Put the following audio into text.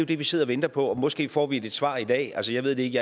det vi sidder og venter på måske får vi et svar i dag altså jeg ved det ikke